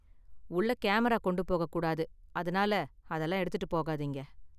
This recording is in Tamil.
உள்ள கேமரா கொண்டு போக கூடாது, அதனால அதெல்லாம் எடுத்துட்டு போகாதீங்க.